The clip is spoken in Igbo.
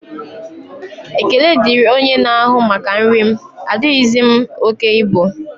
Ekele diri onye na-ahụ maka nri m, adighizi m oke ibu